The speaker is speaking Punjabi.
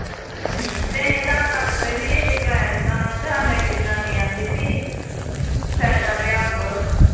ਹਮ ਤੇ ਅਸੀਂ ਤਾਂ ਅਧਾਰ ਕਾਡ ਖੜੇ ਨੀ ਅਸੀਂ ਤੇ ਕਿਰਾਇਆ ਦਿੱਤਾ ਉਹਨਾਂ ਤੇ ਸਾਨੂੰ ਇੱਕ ਜਨਾਨੀ ਕਹਿੰਦੀ ਬਈ ਫ਼ੈਦਾ ਲਿਆ ਕਰੋ